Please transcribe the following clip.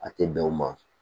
A tɛ bɛn o ma